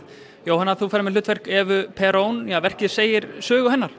Jóhanna þú ferð með hlutverk Evu verkið segir sögu hennar